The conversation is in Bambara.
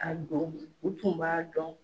A dɔn u tun b'a dɔn.